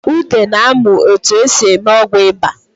Ude na-amụ etu e si eme ọgwụ ịba